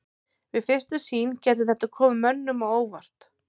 Við fyrstu sýn gæti þetta komið mönnum á óvart.